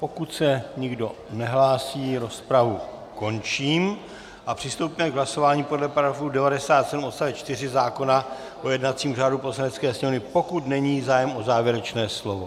Pokud se nikdo nehlásí, rozpravu končím a přistoupíme k hlasování podle § 97 odst. 4 zákona o jednacím řádu Poslanecké sněmovny, pokud není zájem o závěrečné slovo.